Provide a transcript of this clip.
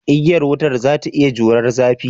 Igiya wutar za ta iya jurar zafi?